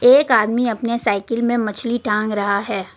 एक आदमी अपने साइकिल में मछली टांग रहा है।